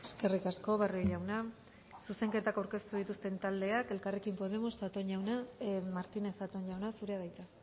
eskerrik asko barrio jauna zuzenketak aurkeztu dituzten taldeak elkarrekin podemos martínez zatón jauna zurea da hitza